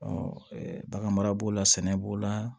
bagan mara b'o la sɛnɛ b'o la